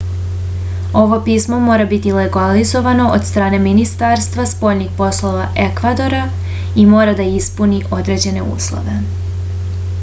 ovo pismo mora biti legalizovano od strane ministarstva spoljnih poslova ekvadora i mora da ispuni određene uslove